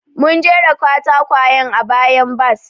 Mun jera katakwayen a bayan bas.